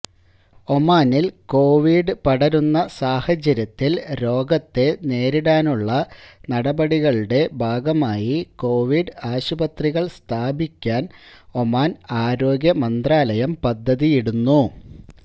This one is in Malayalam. ഒമാനിൽ കൊവിഡ് പടരുന്ന സാഹചര്യത്തിൽ രോഗത്തെ നേരിടാനുള്ള നടപടികളുടെ ഭാഗമായി കൊവിഡ് ആശുപത്രികൾ സ്ഥാപിക്കാൻ ഒമാൻ ആരോഗ്യ മന്ത്രാലയം പദ്ധതിയിടുന്നു